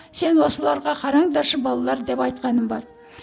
сен осыларға қараңдаршы балалар деп айтқаным бар